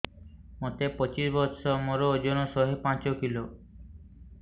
ମୋତେ ପଚିଶି ବର୍ଷ ମୋର ଓଜନ ଶହେ ପାଞ୍ଚ କିଲୋ